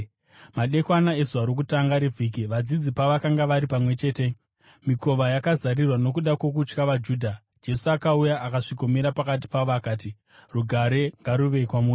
Madekwana ezuva rokutanga revhiki, vadzidzi pavakanga vari pamwe chete, mikova yakazarirwa nokuda kwokutya vaJudha, Jesu akauya akasvikomira pakati pavo akati, “Rugare ngaruve kwamuri!”